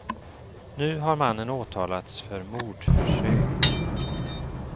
Nu har mannen åtalats för mordförsök.